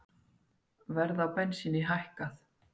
Verð á bensíni hækkað